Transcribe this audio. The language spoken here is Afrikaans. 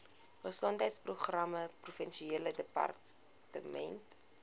gesondheidsprogramme provinsiale departement